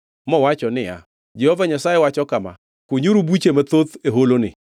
mowacho niya, “Jehova Nyasaye wacho kama: Kunyuru buche mathoth e holoni.